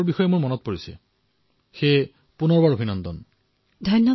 কৃতিয়া হয় মহোদয়